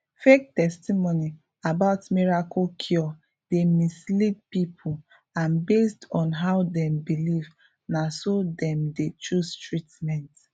fake testimony about miracle cure dey mislead people and based on how dem believe na so dem dey choose treatment